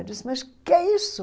Eu disse, mas o que é isso?